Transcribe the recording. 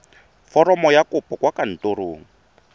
foromo ya kopo kwa kantorong